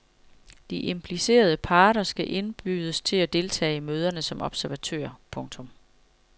De implicerede parter skal indbydes til at deltage i møderne som observatører. punktum